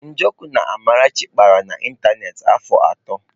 Njoku na Amarachi kpara na ịntanetị afọ atọ.